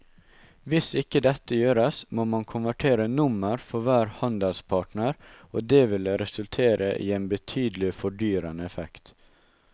Hvis ikke dette gjøres må man konvertere nummer for hver handelspartner og det vil resultere i en betydelig fordyrende effekt.